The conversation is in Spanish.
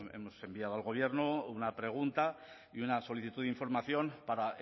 hemos enviado al gobierno una pregunta y una solicitud de información para